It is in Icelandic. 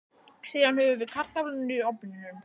Síðan höfum við kartöflurnar í ofninum í